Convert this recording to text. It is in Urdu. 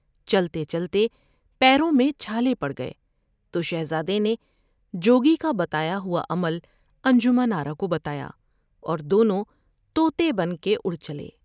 چلتے چلتے پیروں میں چھالے پڑ گئے تو شہزادے نے جوگی کا بتایا ہواعمل انجمن آرا کو بتایا اور دونوں تو تے بن کے اڑ چلے ۔